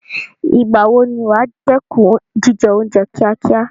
Ìgbà wo ni wà á dẹ́kun jíjẹ oúnjẹ kíákíá?